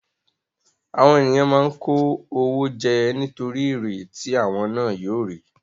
Àwọn ènìyàn máa ń kó owó jẹ nítorí èrè tí àwọn ná yóò rí.